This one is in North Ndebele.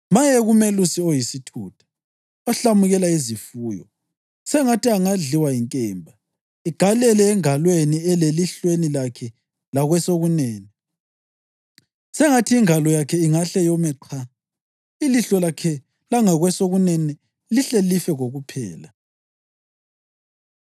Maye kumelusi oyisithutha, ohlamukela izifuyo! Sengathi angadliwa yinkemba igalele engalweni lelihlweni lakhe lakwesokunene! Sengathi ingalo yakhe ingahle yome qha, ilihlo lakhe langakwesokunene lihle life kokuphela!”